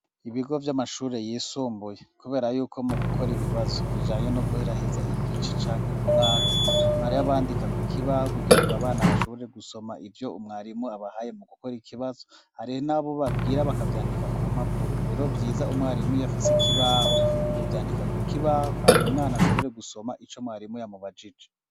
Ibigo vy'amashure yisumbuye, kubera yuko mu gukora ibibazo bijanye no guheraheza igice canke umwaka bara yabandika ku kibaho kugira ngo abana bashobore gusoma ivyo umwarimu abahaye mu gukora ikibazo ariho n'abo babwira bakavyandika ku mpapuro rero vyiza umwarimu yafise ikibaho n' ukuvyandika ku kibaho hama umwana ashobore gusoma oma ico mwarimo yamubajije.